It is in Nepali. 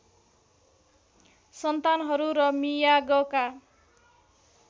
सन्तानहरू र मियागका